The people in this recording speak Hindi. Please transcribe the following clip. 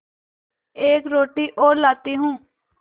एक रोटी और लाती हूँ